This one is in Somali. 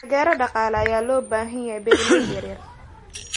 Taageero dhaqaale ayaa loo baahan yahay beeralayda yaryar.